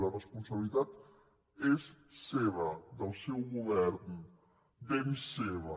la responsabilitat és seva del seu govern ben seva